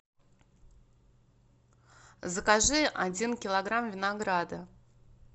закажи один килограмм винограда